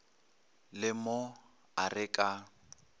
le mo a re ka